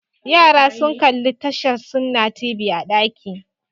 Yara sun kalli tashar Sunna TV a ɗaki